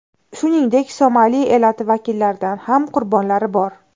Shuningdek, somali elati vakillaridan ham qurbonlari bor.